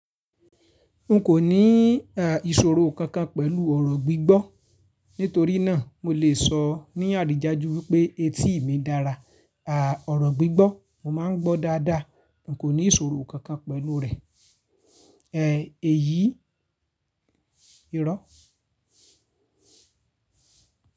N kò ní à ìṣòro kankan pẹ̀lú ọ̀rọ̀ gbígbọ́. Nítorí náà mo lè sọ ní àrídájú wípé etí mi dára. À ọ̀rọ̀ gbígbọ́ mo máa ń gbọ́ dáadáa. N kò ní ìṣòro kankan pẹ̀lú rè. E èyí, irọ́.